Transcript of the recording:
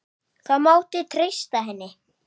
Það mátti treysta henni.